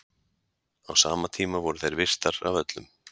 Á sama tíma voru þær virtar af öllum.